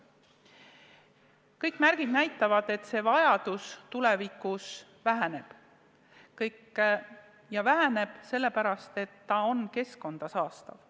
Kõik märgid näitavad, et see vajadus tulevikus väheneb, ja väheneb sellepärast, et selle kaevandamine on keskkonda saastav.